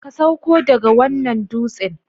Ka sauko daga wannan dutsen!